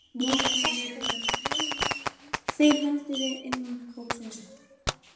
Markmiðin eru mörg, þeim höldum við innan hópsins.